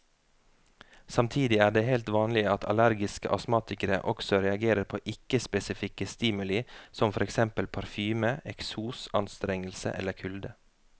Samtidig er det helt vanlig at allergiske astmatikere også reagerer på ikke spesifikke stimuli som for eksempel parfyme, eksos, anstrengelse eller kulde.